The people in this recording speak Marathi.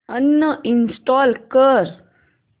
अनइंस्टॉल कर